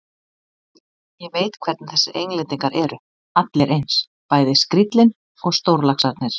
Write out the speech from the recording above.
Ég veit hvernig þessir Englendingar eru, allir eins, bæði skríllinn og stórlaxarnir.